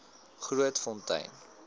grootfontein